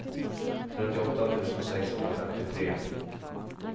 trettioåtta tusen sexhundrafemtiotre